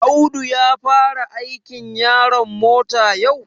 Audu ya fara aikin yaron mota yau?